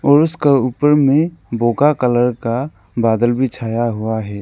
और उसका ऊपर में बोका कलर का बदला भी छाया हुआ है।